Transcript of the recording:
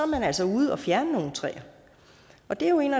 man altså ude og fjerne nogle træer og det er jo en